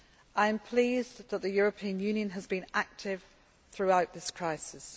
I am pleased that the European Union has been active throughout this crisis.